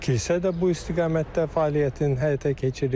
Kilsə də bu istiqamətdə fəaliyyətin həyata keçirir.